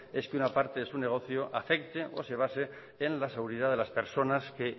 es que una parte de su negocio afecte o se base en la seguridad de las personas que